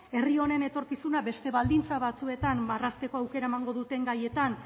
herri honen etorkizuna beste baldintzak batzuetan marrazteko aukera emango duten gaietan